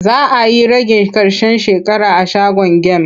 Za a yi ragin ƙarshen shekara a shagon gem.